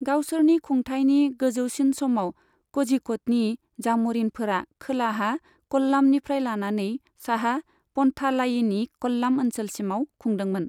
गावसोरनि खुंथाइनि गोजौसिन समाव, कझिक'डनि जाम'रिनफोरा खोलाहा कल्लामनिफ्राय लानानै साहा पन्थालायिनी कल्लाम ओनसोलसिमाव खुंदोमोन।